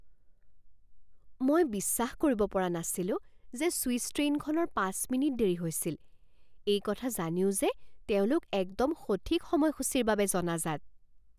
মই বিশ্বাস কৰিব পৰা নাছিলো যে চুইছ ট্ৰেইনখনৰ পাঁচ মিনিট দেৰি হৈছিল এই কথা জানিও যে তেওঁলোক একদম সঠিক সময়সূচীৰ বাবে জনাজাত।